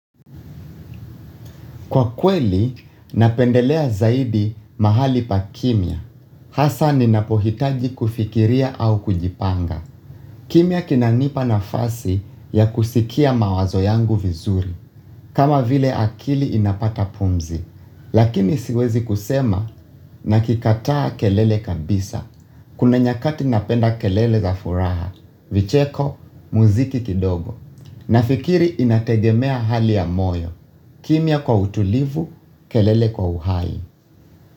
Kwa kweli, napendelea zaidi mahali pa kimya. Hasa ninapohitaji kufikiria au kujipanga. Kimia kinanipa na fasi ya kusikia mawazo yangu vizuri. Kama vile akili inapata pumzi. Lakini siwezi kusema nakikataa kelele kabisa. Kuna nyakati napenda kelele za furaha. Vicheko, mziki kidogo. Nafikiri inategemea hali ya moyo. Kimya kwa utulivu, kelele kwa uhai.